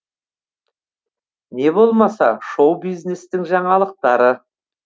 не болмаса шоу бизнестің жаңалықтары